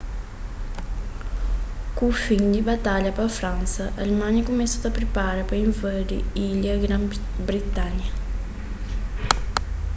ku fin di batalha pa fransa alemanha kumesa ta pripara pa invadi ilha di gran-britanha